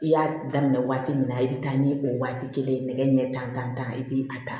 I y'a daminɛ waati min na i bɛ taa ni o waati kelen ye nɛgɛ ɲɛ tan i bɛ a ta